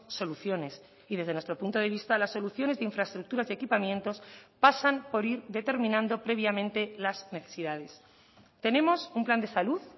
soluciones y desde nuestro punto de vista las soluciones de infraestructuras y equipamientos pasan por ir determinando previamente las necesidades tenemos un plan de salud